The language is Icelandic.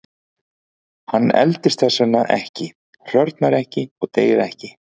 Hann eldist þess vegna ekki, hrörnar ekki og deyr ekki.